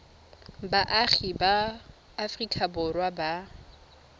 baagi ba aforika borwa ba